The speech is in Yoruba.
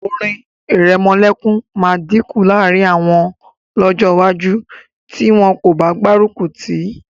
Orin ìrẹmọlẹ́kun máa dínkù láàrín àwọn lọ́jọ́ iwájú tí wọn kò bá gbárùkù tì í